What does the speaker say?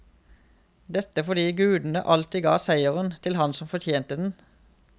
Dette fordi gudene alltid ga seieren til han som fortjente den.